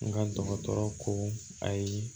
N ka dɔgɔtɔrɔ ko ayi